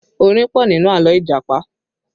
Orin pọ̀ nínú àlọ́ Ìjàpá